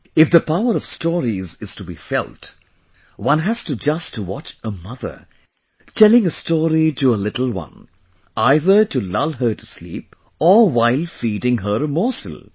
If the power of stories is to be felt, one has to just watch a mother telling a story to her little one either to lull her to sleep or while feeding her a morsel